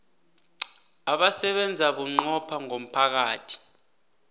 abasebenza bunqopha ngomphakathi